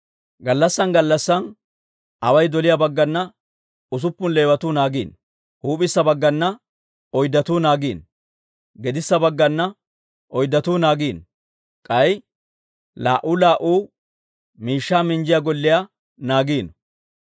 Gallassan gallassan away doliyaa baggana usuppun Leewatuu naagiino. Huup'issa baggana oyddatuu naagiino. Gedissa baggana oyddatuu naagiino. K'ay laa"u laa"u miishshaa minjjiyaa golliyaa naagiino.